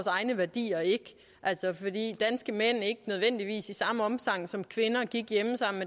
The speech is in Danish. egne værdier ikke fordi danske mænd ikke nødvendigvis i samme omfang som kvinder gik hjemme sammen